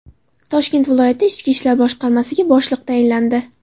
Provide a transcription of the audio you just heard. Toshkent viloyati Ichki ishlar boshqarmasiga boshliq tayinlandi.